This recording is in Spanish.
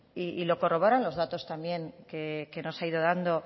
y lo corroboran los datos también que nos ha ido dando